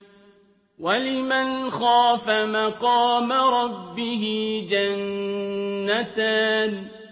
وَلِمَنْ خَافَ مَقَامَ رَبِّهِ جَنَّتَانِ